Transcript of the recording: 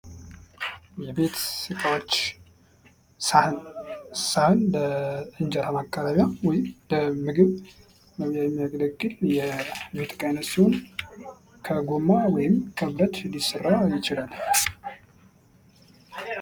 የቤት እቃወች ሳህን ሳህን የእንጀራ መቅረቢያ ወይም ለምግብ መብያ የሚያገለግል የቤት ዕቃ አይነት ሲሆን በጎማ ወይም ከብረት ሊሰራ ይችላል።